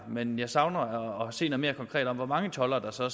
men jeg savner at se noget mere konkret om hvor mange toldere der så